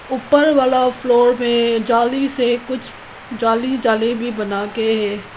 ऊपर वाला फ्लोर में जाली से कुछ जाली जाली बना के है।